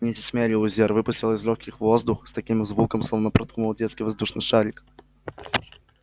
миссис мерриуэзер выпустила из лёгких воздух с таким звуком словно проткнула детский воздушный шарик